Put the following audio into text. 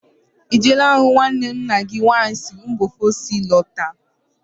Ị jeela hụ nwanne nna gị nwaanyị siri mba ofesi lọta?